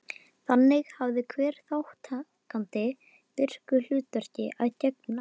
Þannig hafði hver þátttakandi virku hlutverki að gegna.